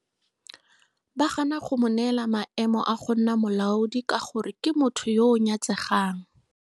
Ba gana go mo neela maemo a go nna molaodi ka gore ke motho yo o nyatsegang.